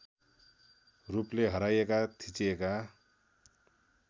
रूपले हराइएका थिचिएका